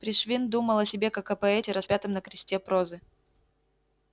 пришвин думал о себе как о поэте распятом на кресте прозы